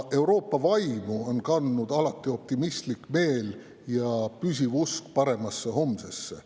Euroopa vaimu on kandnud alati optimistlik meel ja püsiv usk paremasse homsesse.